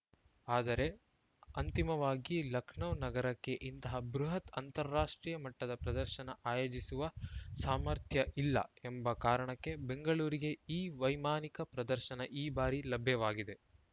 ಆದರೆ ಅಂತಿಮವಾಗಿ ಲಖನೌ ನಗರಕ್ಕೆ ಇಂತಹ ಬೃಹತ್‌ ಅಂತಾರಾಷ್ಟ್ರೀಯ ಮಟ್ಟದ ಪ್ರದರ್ಶನ ಆಯೋಜಿಸುವ ಸಾಮರ್ಥ್ಯ ಇಲ್ಲ ಎಂಬ ಕಾರಣಕ್ಕೆ ಬೆಂಗಳೂರಿಗೆ ಈ ವೈಮಾನಿಕ ಪ್ರದರ್ಶನ ಈ ಬಾರಿ ಲಭ್ಯವಾಗಿದೆ